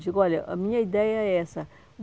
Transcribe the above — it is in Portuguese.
Digo, olha, a minha ideia é essa.